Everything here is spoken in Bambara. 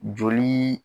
Joli